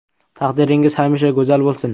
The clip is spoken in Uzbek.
Taqdiringiz hamisha go‘zal bo‘lsin!